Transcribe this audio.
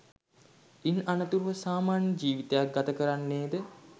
ඉන් අනතුරුව සාමාන්‍ය ජීවිතයක් ගත කරන්නේද?